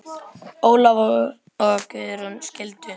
Ólafur og Guðrún skildu.